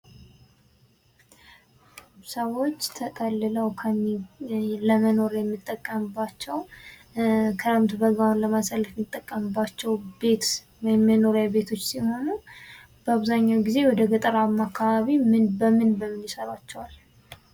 ሰዎች ተጠልለው ለመኖር የሚጠቀሙባቸው ክረምት በጋውን ለማሳለፍ የሚጠቀምባቸው ቤት መኖሪያ ቤቶች ሲሆኑ በአብዛኛው ግዜ ወደ ገጠራማው አካባቢ በምን በምን ይሰሯቸዋል?